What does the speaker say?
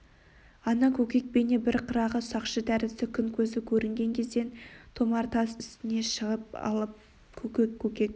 ата көкек бейне бір қырағы сақшы тәрізді күн көзі көрінген кезден томар тас үстіне шығып алып көкек көкек